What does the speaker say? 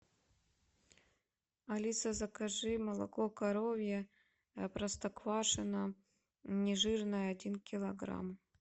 алиса закажи молоко коровье простоквашино не жирное один килограмм